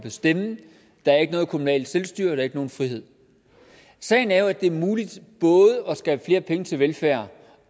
bestemme der er ikke noget kommunalt selvstyre der er ikke nogen frihed sagen er jo at det er muligt både at skabe flere penge til velfærd